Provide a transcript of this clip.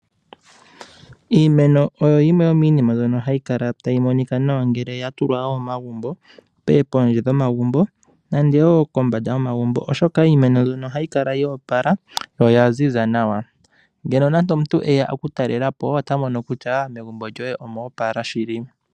Iimeno oyo yimwe yo miinima mboka hayi kala tayi monika nawa ngele yatulwa momagubo nenge pondje gomagubo nande woo kombanda yomagubo .Oshoka iimeno mboka ohayi kala yo opala noyaziza nawa .Ngele nando omuntu eya oku talela po ota mono kutya megubo lyoye omo opala shili.